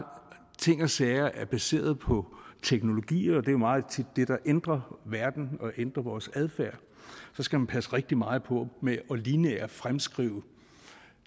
ting og sager er baseret på teknologier og det er jo meget tit det der ændrer verden og ændrer vores adfærd skal man passe rigtig meget på med lineært at fremskrive